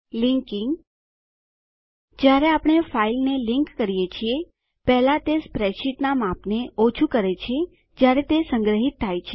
linking જોડાણ કરવું જયારે આપણે ફાઈલને લીંક કરીએ છીએ પહેલા તે સ્પ્રેડશીટનાં માપને ઓછું કરે છે જયારે તે સંગ્રહીત થાય છે